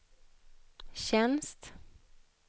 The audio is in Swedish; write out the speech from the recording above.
tjänst